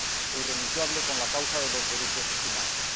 e irrenunciable con la causa de los derechos humanos.